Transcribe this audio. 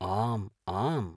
आम् आम्।